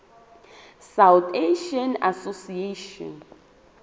south asian association